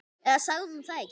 Eða sagði hún það ekki?